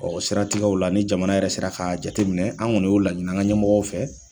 o siratigɛw la ni jamana yɛrɛ sera ka jateminɛ an kɔni y'o laɲini an ka ɲɛmɔgɔw fɛ.